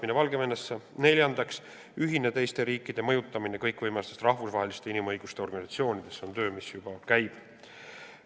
Neljandaks, mõjutada üheskoos teisi riike kõikvõimalikes rahvusvahelistes inimõiguste organisatsioonides – see on töö, mis juba käib.